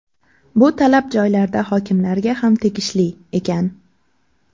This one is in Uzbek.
Bu talab joylarda hokimlarga ham tegishli”, ekan.